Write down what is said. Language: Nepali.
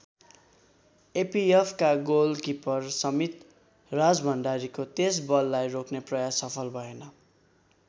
एपीएफका गोलकिपर समित राजभण्डारीको त्यस बललाई रोक्ने प्रयास सफल भएन।